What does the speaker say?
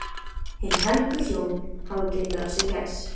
Hin helgu hjón hafa getið af sér gæs.